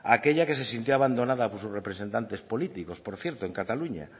aquella que se sintió abandonada por sus representantes políticos por cierto en cataluña